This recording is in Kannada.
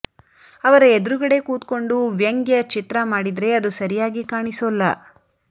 ಅವರ ಎದುರುಗಡೆ ಕೂತ್ಕೊಂಡು ವ್ಯಂಗ್ಯ ಚಿತ್ರ ಮಾಡಿದ್ರೆ ಅದು ಸರಿಯಾಗಿ ಕಾಣಿಸೋಲ್ಲ